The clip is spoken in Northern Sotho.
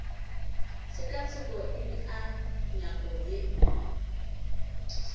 tshekatsheko e bea nyako ye